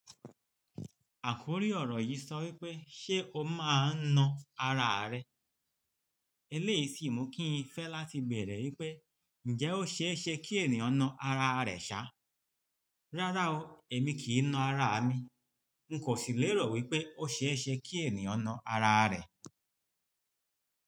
Àkórí ọ̀rọ̀ yìí sọ wípé "Ṣé o máa ń na ara rẹ?" Eléyìí sì mú kí n fẹ́ láti bẹ̀rẹ̀ wípé "Ǹjẹ́ ó ṣe é ṣe kí ènìyàn na ara rẹ̀ ṣá?" Rárá o, èmi kì í na ara mi. N kò sì lè rọ̀ wípé ó ṣe é ṣe kí ènìyàn na ara rẹ̀